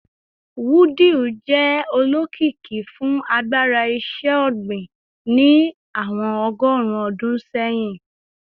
Wudil jẹ olokiki fun agbara iṣẹ-ogbin ni awọn ọgọrun ọdun sẹhin